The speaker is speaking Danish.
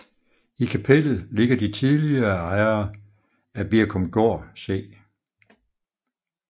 I kapellet ligger de tidligere ejere af Birkumgård C